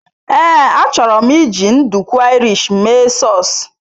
Ee, achọrọ m iji nduku Irish mee sause.